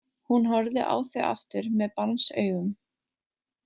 Hún horfði á þau aftur með barnsaugum.